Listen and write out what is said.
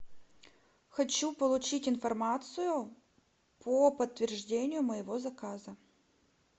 хочу получить информацию по подтверждению моего заказа